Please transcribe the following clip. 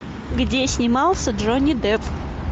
где снимался джонни депп